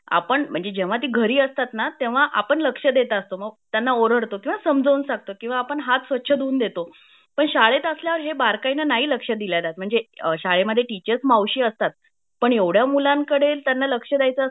आपण जेव्हा ती घरी असतात ना तेव्हा आपण लक्ष देत असतो मग तेव्हा आपण त्यांना ओरडतो किंवा समजाऊन सांगतो किंवा आपण हात स्वच्छ धुवून देतो पण शाळेत असल्यावर हे बारकाईने नाही लक्ष दिल्या जात म्हणजे शाळेमध्ये टीचर मावशी असतात पण एवढ्या मुलांकडे त्यांना लक्ष द्यायचा असेल